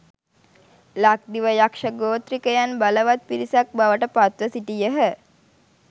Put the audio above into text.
ලක්දිව යක්‍ෂ ගෝත්‍රිකයන් බලවත් පිරිසක් බවට පත්ව සිටියහ.